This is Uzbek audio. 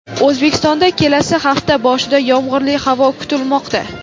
O‘zbekistonda kelasi hafta boshida yomg‘irli havo kutilmoqda.